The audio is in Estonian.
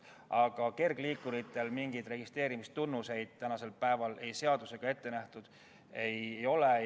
Aga kergliikuritele mingeid registreerimistunnuseid tänasel päeval seadusega ette nähtud ei ole.